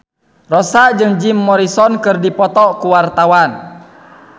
Rossa jeung Jim Morrison keur dipoto ku wartawan